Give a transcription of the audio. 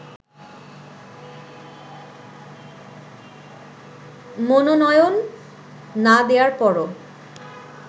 মনোনয়ন না দেয়ার পরও